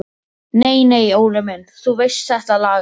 Nei nei Óli minn, þú veist þetta lagast.